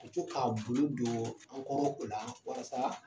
U bɛ to k'a u bolo don an kɔrɔ o la walasa